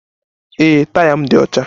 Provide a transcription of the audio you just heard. Ee, taya m dị ọcha